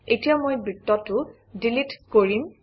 এতিয়া মই বৃত্তটো ডিলিট কৰিম